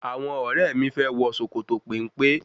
Àwọn ọ̀rẹ́ mi fẹ́ wọ sòkòtò péńpé n